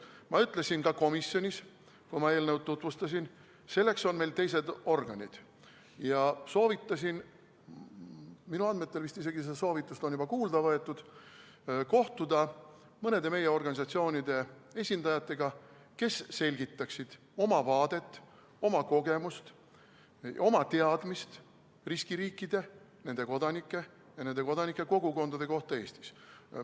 Ma ütlesin ka komisjonis, kui ma eelnõu tutvustasin, et selleks on meil teised organid, ja soovitasin kohtuda mõne meie organisatsiooni esindajatega, kes selgitaksid oma vaadet, oma kogemust, oma teadmist riskiriikide, nende kodanike ja nende kodanike kogukondade kohta Eestis.